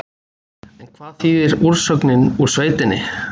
En hvað þýðir úrsögnin úr sveitinni?